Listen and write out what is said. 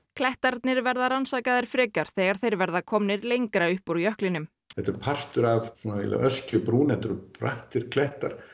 klettarnir verða rannsakaðir frekar þegar þeir verða komnir lengra upp úr jöklinum þetta er partur af öskjubrún þetta eru brattir klettar